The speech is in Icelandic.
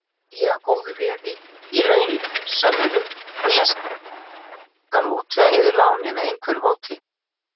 Hugið að góðu veði í lausamunum og ég skal útvega yður lánið með einhverju móti.